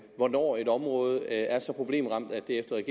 hvornår et område er så problemramt at det efter